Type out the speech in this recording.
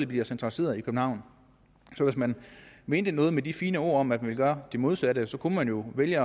bliver centraliseret i københavn så hvis man mente noget med de fine ord om at ville gøre det modsatte så kunne man jo vælge